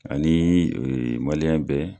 Ani bɛɛ